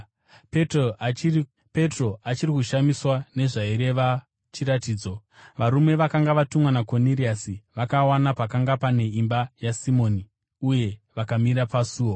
Petro achiri kushamiswa nezvaireva chiratidzo, varume vakanga vatumwa naKoniriasi vakawana pakanga pane imba yaSimoni uye vakamira pasuo.